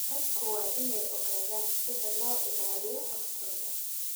Dadku waa inay ogaadaan sida loo ilaaliyo xogtooda.